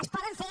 es poden fer